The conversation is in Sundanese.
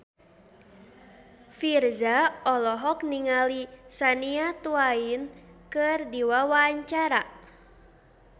Virzha olohok ningali Shania Twain keur diwawancara